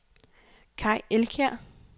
Kai Elkjær